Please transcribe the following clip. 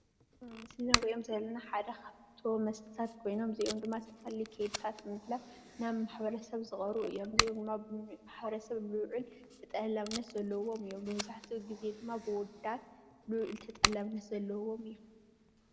ኣብ ምስሊ እንሪኦም ዘለና ሓደ ካብቶም መስተታት ኮይኖም እዚኦም ድማ ዝተፈላለዩ ከይድታት ንምሕላፍ ናብ ማሕበረ ሰብ ዝቀርቡ እዮም፡፡ እዚኦም ድማ ኣብ ማሕበረ ሰብ ዝውዕል ተጠላብነት ዘለዎ እዩ፡፡ መብዛሕትኡ ግዜ ድማ ብኣወዳት ልዑል ተጠላብነት ዘለዎም እዮም፡፡